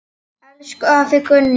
Elsku afi Gunni.